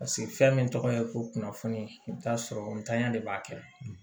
Paseke fɛn min tɔgɔ ye ko kunnafoni i bi t'a sɔrɔ ntanya de b'a kɛ